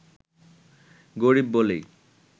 গরিব বলেই